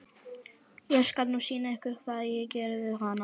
Ég skal nú sýna ykkur hvað ég geri við hana!